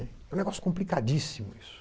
É um negócio complicadíssimo isso.